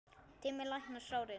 Tíminn læknar sárin.